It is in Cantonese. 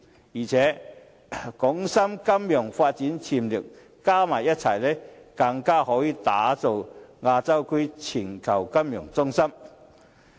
再者，港深金融發展潛力加在一起，更可打造亞洲區的全球金融中心。